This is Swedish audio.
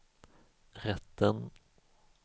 rätten